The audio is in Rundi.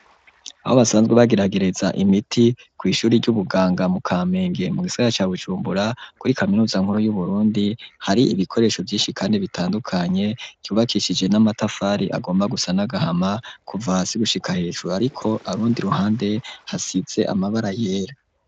Aho basanzwe bageragereza imiti kw'ishuri ry'ubuganga mu Kamenge mu gisagara ca Bujumbura kuri kaminuza nkuru yu Burundi hari ibikoresho vyishi kandi bitandukanye ryubakishije n'amatafari agomba gusa n'agahama kuva hasi gushika hejuru ariko urundi ruhande hasize amabara yera.